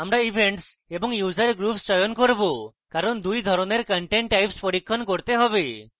আমরা events এবং user groups চয়ন করব কারণ 2 ধরনের content types পরীক্ষণ করতে হবে